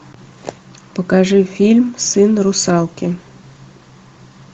покажи фильм сын русалки